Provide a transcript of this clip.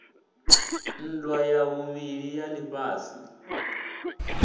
nndwa ya vhuvhili ya lifhasi